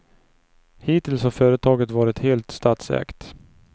Hittills har företaget varit helt statsägt.